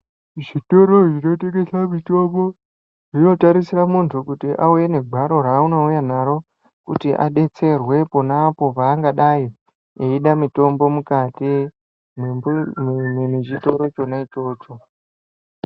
Zvitoro zvinotengesa mitombo, zvinotarisira muntu, kuti auye negwaro raanouya naro, kuti adetserwe pona apo paangadai, eida mitombo mukati mwenzvi mwe mwemwemwechitoro chona ichocho.